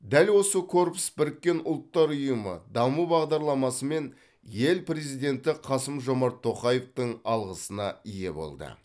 дәл осы корпус біріккен ұлттар ұйымы даму бағдарламасы мен ел президенті қасым жомарт тоқаевтың алғысына ие болды